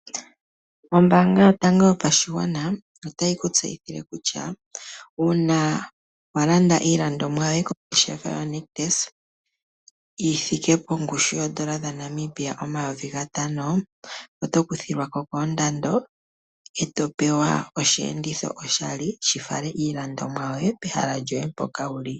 Ombaanga yotango yopashigwana otayi ku tseyithile kutya uuna wa landa iilandomwa yoye kongeshefa yoNictus, yi thike pongushu yoondola dhaNamibia omayovi gatano, oto kuthilwa ko koondando, e to pewa osheenditho oshali, shi fale iilandomwa yoye, pehala mpoka wuli.